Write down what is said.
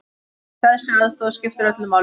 Þessi aðstoð skiptir öllu máli.